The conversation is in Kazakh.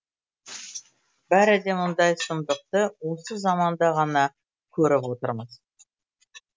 бәрі де мұндай сұмдықты осы заманда ғана көріп отырмыз